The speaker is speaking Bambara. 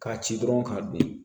K'a ci dɔrɔn k'a don